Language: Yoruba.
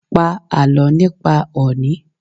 Pa àlọ́ nípa òní!